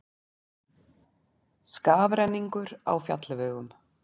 Skafrenningur á fjallvegum